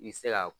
I bi se ka